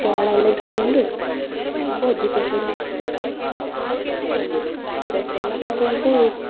So ಹಣಯೆಲ್ಲ ಇಟ್ಕೊಂಡು ಪೇಟೆಗೆಲ್ಲ ಹೊದ್ವಿ. ಪೇಟೆಗೆಲ್ಲ ಹೋಗಿ dress ಯೆಲ್ಲ ತಗೊಂಡ್ವಿ dress ಯೆಲ್ಲ ತಗೊಂಡು.